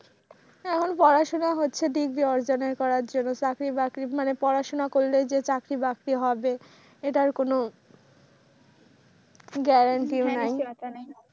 এখন পড়াশোনা হচ্ছে তো ঠিকই চাকরি বাগরি পড়াশোনা করলেই যে চাকরি বাকরি হবে এটার কোন গ্যারান্টি নেই।